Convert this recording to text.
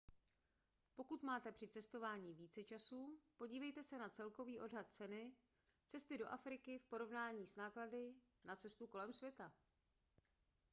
pokud máte při cestování více času podívejte se na celkový odhad ceny cesty do afriky v porovnání s náklady na cestu kolem světa